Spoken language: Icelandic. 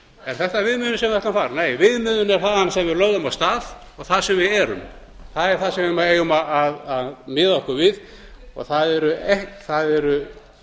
er þetta viðmiðunin sem ætti nei viðmiðunin er þaðan sem við lögðum af stað og þar sem við erum það er það sem við eigum að miða okkur við og það eru